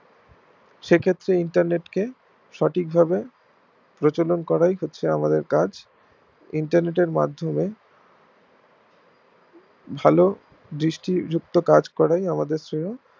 সেক্ষেত্রে internet কে সঠিক ভাবে প্রচলন করাই হচ্ছে আমাদের কাজ internet এর মাধ্যমে ভালো দৃষ্টি যুক্ত কাজ করে আমাদের জন্যে